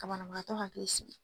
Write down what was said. Banabaatɔ hakili sigi.